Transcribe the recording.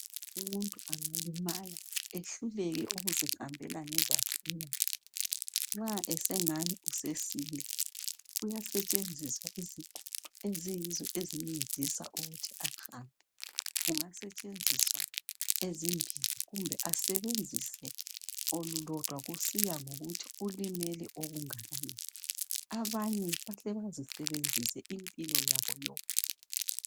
Umuntu angalimala ehluleke ukuzihambela ngezakhe inyawo nxa esengani usesila kuyasetshenziswa izigodo eziyizo ezimncedisa ukuthi ahambe kungasetshenziswa ezimbili kumbe asebenzise olulodwa kusiya ngokuthi ulimele okunganani, abanye bahle bazisebenzise impilo yabo yonke.